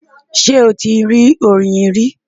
Ṣé o ti rí oyin rí?